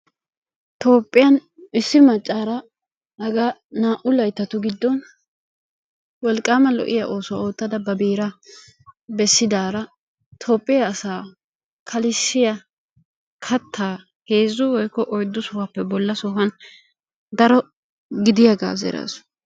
Toophphiyaan issi maccara haga naa''u layttatu giddon wolqqama lo''iyaa oosuwa oottada ba beera bessidaara Toophphiya asa kalissiya kattaa heezzu woykko oyddu sohuwappe bolla sohuwa daro gidiyaaga zeraasu.